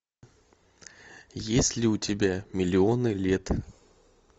есть ли у тебя миллионы лет